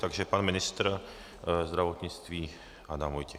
Takže pan ministr zdravotnictví Adam Vojtěch.